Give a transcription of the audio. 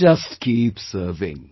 Just keep serving